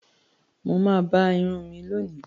Mọ̀ mà bá ìrùn mí lónì